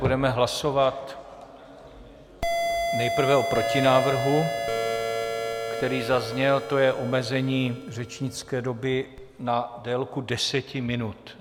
Budeme hlasovat nejprve o protinávrhu, který zazněl, to je omezení řečnické doby na délku deseti minut.